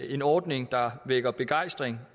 en ordning der vækker begejstring